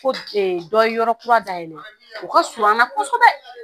Ko dɔ ye yɔrɔ kura dayɛlɛ o ka suru kosɛbɛ.